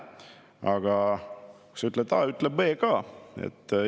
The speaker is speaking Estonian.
Aga kui sa ütled A, siis ütle B ka.